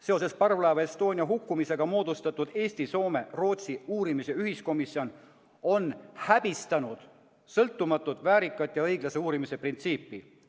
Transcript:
Seoses parvlaeva Estonia hukkumisega moodustatud Eesti-Soome-Rootsi uurimise ühiskomisjon on häbistanud sõltumatu, väärika ja õiglase uurimise printsiipi.